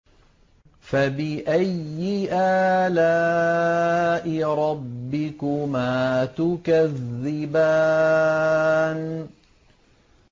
فَبِأَيِّ آلَاءِ رَبِّكُمَا تُكَذِّبَانِ